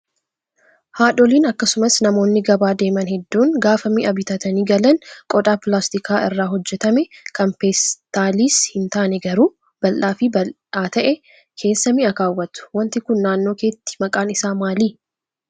Haadholiin akkasumas namoonni gabaa deeman hedduun gaafa mi'a bitatanii galan qodaa pilaastika irraa hojjatame kan peestaaliis hin taane garuu bal'aa fi bal'aa ta'e keessa mi'a kaawwatu. Wanti kun naannoo keetti maqaan isaa maali?